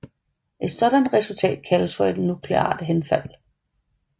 Et sådant resultat kaldes for nukleart henfald